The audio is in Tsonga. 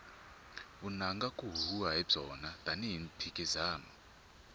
vunanga ku huhwiwa hi byona tani hi mphikizano